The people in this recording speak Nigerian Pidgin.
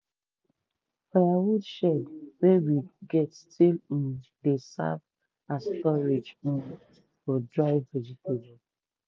firewood shed wey we get still um dey serve as storage um for dried vegetable.